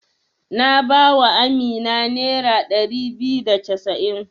Na ba wa Amina nera ɗari biyu da casa'in.